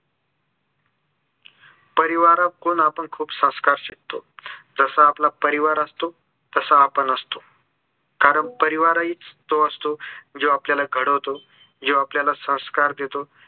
परिवारात कोण आपण खूप संस्कार शिकतो जसा आपला परिवार असतो तसा आपण असतो कारण परिवार हीच तो असतो जो आपल्याला घडवतो जो आपलायला संस्कार देतो